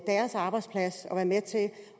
deres arbejdsplads